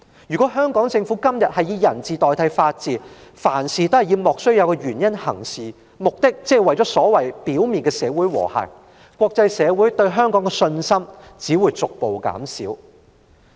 如果香港政府以人治代替法治，或以莫須有的原因行事，目的只是為了表面的社會和諧，國際社會只會逐步對香港失去信心。